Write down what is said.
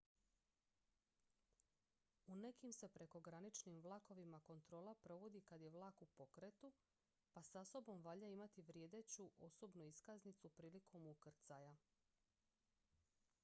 u nekim se prekograničnim vlakovima kontrola provodi kad je vlak u pokretu pa sa sobom valja imati vrijedeću osobnu iskaznicu prilikom ukrcaja